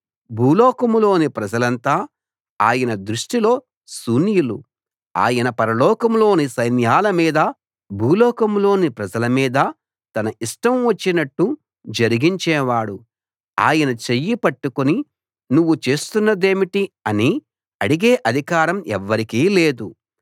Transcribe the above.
భూలోకంలోని ప్రజలంతా ఆయన దృష్టిలో శూన్యులు ఆయన పరలోకంలోని సైన్యాల మీదా భూలోకంలోని ప్రజల మీదా తన ఇష్టం వచ్చినట్టు జరిగించేవాడు ఆయన చెయ్యి పట్టుకుని నువ్వు చేస్తున్నదేమిటి అని అడిగే అధికారం ఎవ్వరికీ లేదు